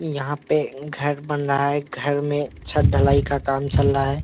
यहाँ पे घर बन रहा है घर में छत ढलाई का काम चल रहा है।